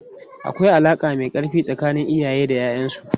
Akwai alaka mai karfi tsakanin iyaye da 'ya'yansu.